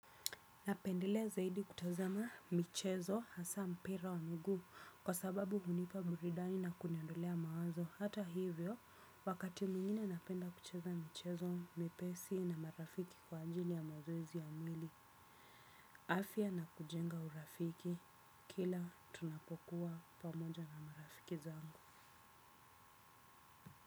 Napendelea zaidi kutazama michezo hasa mpira wa miguu kwa sababu hunipa burudani na kuniondolea mawazo hata hivyo wakati mwingine napenda kucheza michezo miepesi na marafiki kwa ajili ya mazoezi ya mwili. Afya na kujenga urafiki. Kila tunapokuwa pamoja na marafiki zangu.